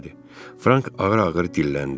Frank ağır-ağır dilləndi.